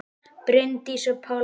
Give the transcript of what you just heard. Bryndís og Pálmi.